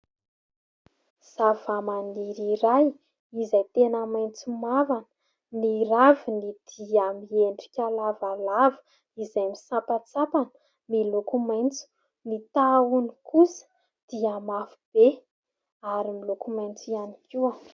Zavamaniry iray izay tena maitso mavana. Ny raviny dia miendrika lavalava izay misampatsampana miloko maitso. Ny tahony kosa dia mafy be ary miloko maitso ihany koa.